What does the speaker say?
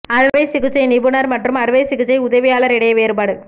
அறுவை சிகிச்சை நிபுணர் மற்றும் அறுவை சிகிச்சை உதவியாளர் இடையே வேறுபாடு